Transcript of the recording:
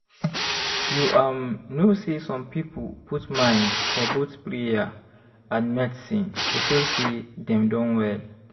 you um know say some people put mind for both prayer and medicine to feel say dem don well.